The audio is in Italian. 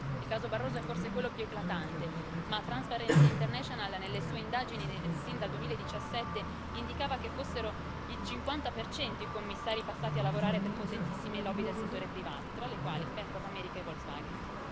Il caso Barroso è forse quello più eclatante, ma Transparency International nelle sue indagini, sin dal 2017 indicava che erano il 50 i commissari passati a lavorare per potentissime lobby del settore privato, tra le quali Bank of America e Volkswagen.